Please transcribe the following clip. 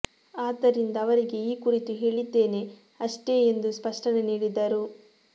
ಅದ್ದರಿಂದ ಅವರಿಗೆ ಈ ಕುರಿತು ಹೇಳಿದ್ದೇನೆ ಅಷ್ಟೇ ಎಂದು ಸ್ಪಷ್ಟನೆ ನೀಡಿದರು